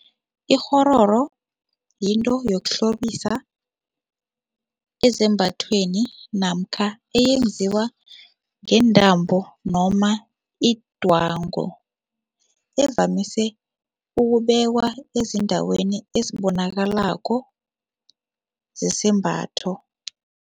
Ikghororo yinto yokuhlobisa ezambathweni namkha eyenziwa ngeentambo noma idwango evamise ukubekwa ezindaweni ezibonakalako zesembatho.